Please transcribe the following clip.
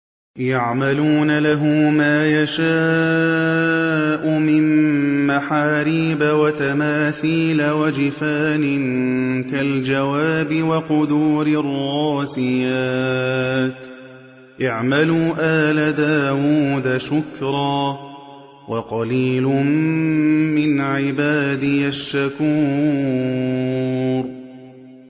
يَعْمَلُونَ لَهُ مَا يَشَاءُ مِن مَّحَارِيبَ وَتَمَاثِيلَ وَجِفَانٍ كَالْجَوَابِ وَقُدُورٍ رَّاسِيَاتٍ ۚ اعْمَلُوا آلَ دَاوُودَ شُكْرًا ۚ وَقَلِيلٌ مِّنْ عِبَادِيَ الشَّكُورُ